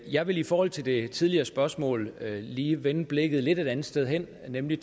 jeg vil i forhold til det tidligere spørgsmål lige vende blikket et lidt andet sted hen nemlig